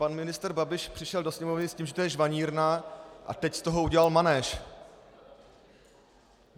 Pan ministr Babiš přišel do Sněmovny s tím, že to je žvanírna, a teď z toho udělal manéž.